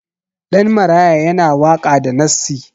Ɗan maraya yana waka da nassi